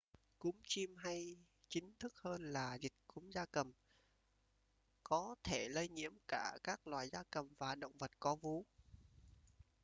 cúm chim hay chính thức hơn là dịch cúm gia cầm có thể lây nhiễm cả các loài gia cầm và động vật có vú